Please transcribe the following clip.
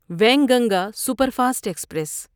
Wainganga superfast express